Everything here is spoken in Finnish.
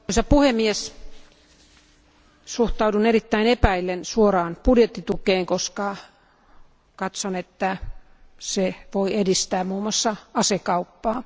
Arvoisa puhemies, suhtaudun erittäin epäillen suoraan budjettitukeen, koska katson, että se voi edistää muun muassa asekauppaa.